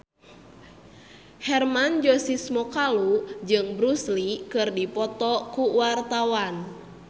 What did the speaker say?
Hermann Josis Mokalu jeung Bruce Lee keur dipoto ku wartawan